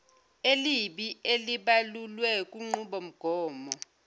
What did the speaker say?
elibi elibalulwe kunqubomgomo